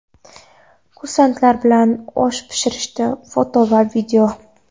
kursantlar bilan osh pishirdi (foto va video).